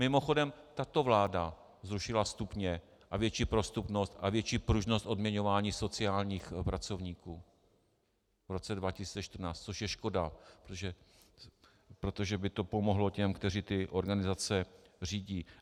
Mimochodem, tato vláda zrušila stupně a větší prostupnost a větší pružnost odměňování sociálních pracovníků v roce 2014, což je škoda, protože by to pomohlo těm, kteří ty organizace řídí.